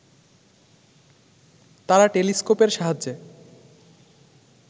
তারা টেলিস্কোপের সাহায্যে